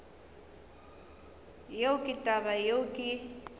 yeo ke taba yeo ke